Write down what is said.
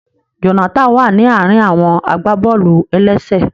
Jonathan wa ni àárín àwọn agbaboolu-elese.